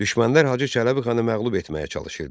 Düşmənlər Hacı Çələbi xanı məğlub etməyə çalışırdı.